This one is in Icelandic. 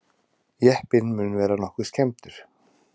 Jeppinn mun vera nokkuð skemmdur